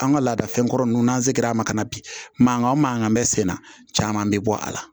An ka laadafɛnkɔrɔ ninnu n'an se l'a ma ka na bi mankan o mankan bɛ sen na caman bɛ bɔ a la